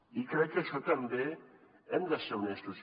i crec que en això també hem de ser honestos